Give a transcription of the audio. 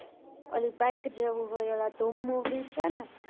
ઓલી બાઈક જેવું હોય, ઓલા ધૂમ movie છે ને?